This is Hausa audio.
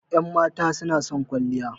Ƴan mata suna son kwalliya